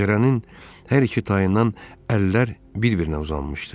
Pəncərənin hər iki tayından əllər bir-birinə uzanmışdı.